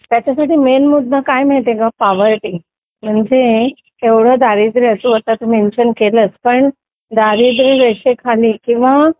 त्याच्यासाठी मेन मुद्दा काय आहे माहिती का पोवर्टी म्हणजे एवढं दारिद्र्य असून तू मेंशन केलं पण दारिद्र्यरेषेखाली किंवा